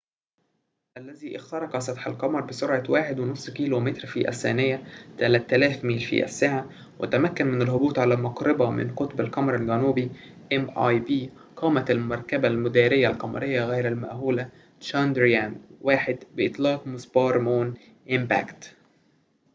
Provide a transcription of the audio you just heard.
قامت المركبة المدارية القمرية غير المأهولة تشاندرايان-1 بإطلاق مسبار مون إمباكت mip، الذي اخترق سطح القمر بسرعة 1.5 كيلومتر في الثانية 3000 ميل في الساعة، وتمكن من الهبوط على مقربة من قطب القمر الجنوبي